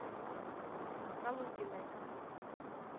калугиной